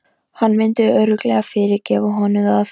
Hann myndi örugglega fyrirgefa honum það.